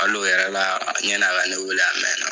Hal'o yɛrɛ la ɲani a ka ne weele a mɛna.